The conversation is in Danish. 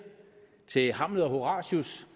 til hamlet og horatius